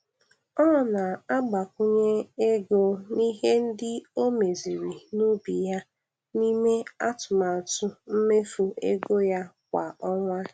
Ọ na-agbakwunye ego n'ihe ndị o meziri n'ubi ya n'ime atụmatụ mmefu ego ya kwa ọnwa.